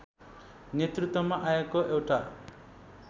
नेतृत्वमा आएको एउटा